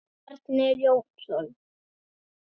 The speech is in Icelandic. Bjarni Jónsson